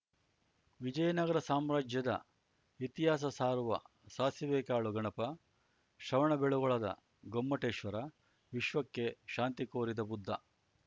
ವಿಜಯನಗರ ಸಾಮ್ರಾಜ್ಯದ ಇತಿಹಾಸ ಸಾರುವ ಸಾಸಿವೆಕಾಳು ಗಣಪ ಶ್ರವಣಬೆಳಗೊಳದ ಗೊಮ್ಮಟೇಶ್ವರ ವಿಶ್ವಕ್ಕೆ ಶಾಂತಿಕೋರಿದ ಬುದ್ಧ